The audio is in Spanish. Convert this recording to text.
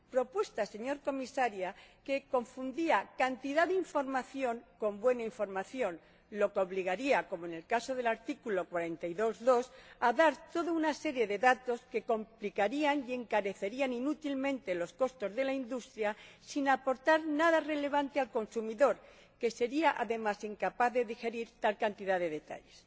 Propuesta, señora Comisaria, que confundía cantidad de información con buena información, lo que obligaría, como en el caso del apartado 2 del artículo 42, a dar toda una serie de datos que complicarían y encarecerían inútilmente los costos de la industria sin aportar nada relevante al consumidor, que sería, además, incapaz de digerir tal cantidad de detalles.